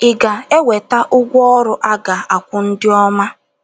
Ị̀ Ga - enweta Ụgwọ Ọrụ A Ga - akwụ Ndị Ọma?